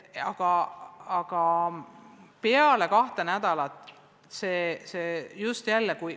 Aga peale kahte nädalat see muutus.